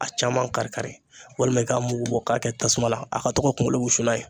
A caman kari kari walima i k'a mugu bɔ k'a kɛ tasuma la a ka to ka kungolo wusu n'a ye